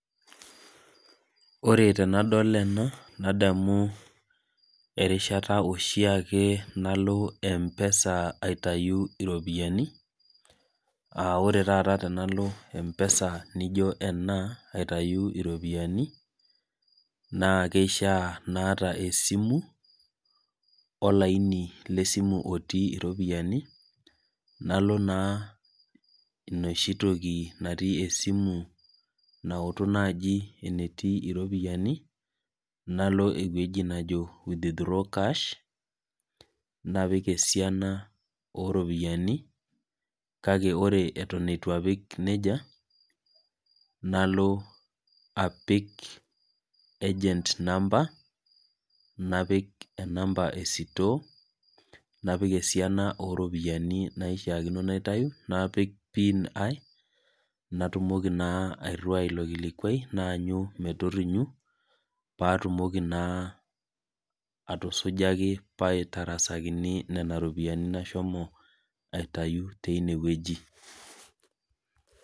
ore tenadol ena nadamu erishata ake oshieke nalo empesa, aitayu iopiyiani aa ore taata tenalo empesa niijo ena aitayu iropiyiani naa kishaa naata esimu olaini lesimu otii iropiyiani, nalo naa enoshitoki esimu nautu naaji enetii iropiyiani nalo naaji eweji nejo withdrawal cash napik esiana oo ropiyiani, kake ore eton etu apik nejia nalo apik egent namba, napik enamba esitoo , napik esiana oo ropiyiani naishaakino napik, napik pin ai natumoki naa airiwai ilo kilikuai lai naanyu metorinyu, paa tumoki naa atusujaki paaitarasakini, nena ropiyiani nasho aitayu tineweji.